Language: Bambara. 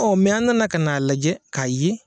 an nana ka n'a lajɛ k'a ye.